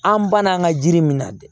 An banna an ka jiri min na dɛ